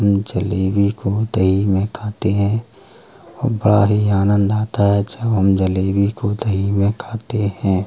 जलेबी को दही में खाते हैं। बड़ा ही आनन्द आता है। जब हम जलेबी को दही में खाते हैं।